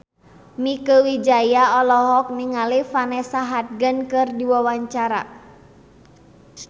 Mieke Wijaya olohok ningali Vanessa Hudgens keur diwawancara